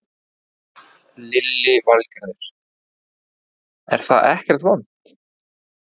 Lillý Valgerður: Er það ekkert vont?